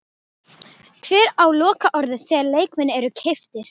Hver á lokaorðið þegar leikmenn eru keyptir?